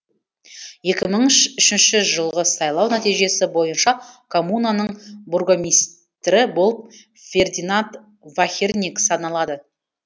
екі мың үшінші жылғы сайлау нәтижесі бойынша коммунаның бургомистрі болып фердинанд вахерниг саналады